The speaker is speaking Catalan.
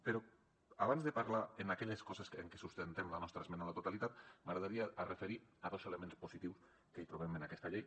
però abans de parlar d’aquelles coses en què sustentem la nostra esmena a la totalitat m’agradaria referir me a elements positius que hi trobem en aquesta llei